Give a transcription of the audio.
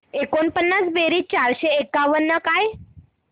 एकोणपन्नास बेरीज चारशे एकावन्न काय